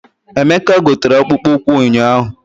Emeka o gotere akpụkpọ ụkwụ ụnyaahụ?